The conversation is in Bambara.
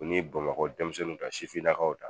U ni Bamakɔ demisɛnninw ta sifinnakaw ta